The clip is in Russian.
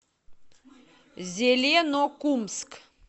зеленокумск